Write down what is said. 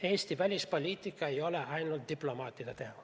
Eesti välispoliitika ei ole ainult diplomaatide teha.